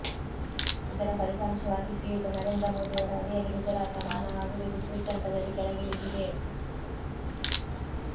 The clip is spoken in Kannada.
ಇದರ ಫಲಿತಾಂಶವಾಗಿ ಶ್ರೀಯುತ ನರೇಂದ್ರ ಮೋದಿಯವರ ಅಡಿಯಲ್ಲಿ ಗುಜರಾತ ಮಾನವ ಅಭಿವೃದ್ಧಿ ಸೂಚ್ಯಂಕದಲ್ಲಿ ಕೆಳಗಿಳಿದಿದೆ